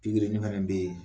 Pikirini fɛnɛ bɛ yen